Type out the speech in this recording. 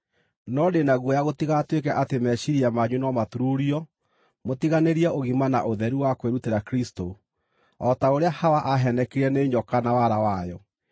No ndĩ na guoya gũtigatuĩke atĩ meciiria manyu no maturuurio mũtiganĩrie ũgima na ũtheru wa kwĩrutĩra Kristũ, o ta ũrĩa Hawa aaheenekire nĩ nyoka na wara wayo.